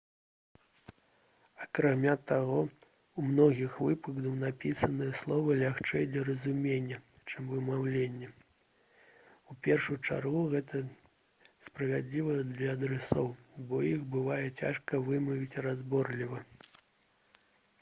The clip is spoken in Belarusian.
акрамя таго у многіх выпадках напісаныя словы лягчэй для разумення чым вымаўленыя у першую чаргу гэта справядліва для адрасоў бо іх бывае цяжка вымавіць разборліва